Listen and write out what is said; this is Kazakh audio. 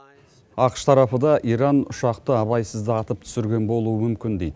ақш тарапы да иран ұшақты абайсызда атып түсірген болуы мүмкін дейді